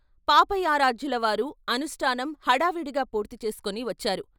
పాపయారాధ్యులవారు అనుష్ఠానం హడావిడిగా పూర్తిచేసుకొని వచ్చారు.